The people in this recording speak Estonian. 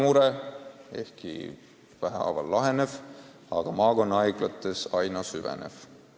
Vähehaaval see ehk laheneb, aga maakonnahaiglates süveneb veelgi.